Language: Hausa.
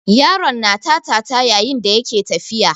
Yaron na tata yayin da yake tafiya.